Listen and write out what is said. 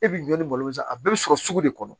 E b'i jɔ ni malo san a bɛɛ bɛ sɔrɔ sugu de kɔnɔ